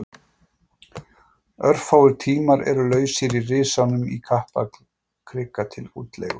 Örfáir tímar eru lausir í Risanum í Kaplakrika til útleigu.